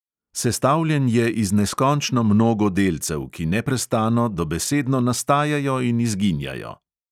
Sestavljen je iz neskončno mnogo delcev, ki neprestano dobesedno nastajajo in izginjajo.